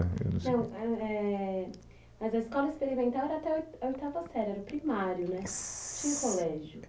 ãh, eu não sei, Então, ãh, éh, Mas a Escola Experimental era até oito, a oitava série, era o primário, né, siii, não tinha o colégio.